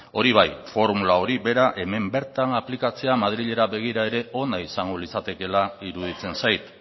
hori bai formula hori bera hemen bertan aplikatzea madrilera begira ere ona izango litzatekela iruditzen zait